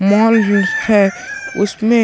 mall book है उसमें--